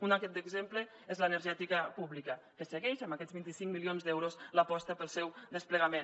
un exemple és l’energètica pública que segueix amb aquests vint cinc milions d’euros l’aposta pel seu desplegament